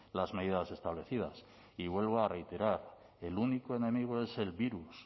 las medidas establecidas y vuelvo a reiterar el único enemigo es el virus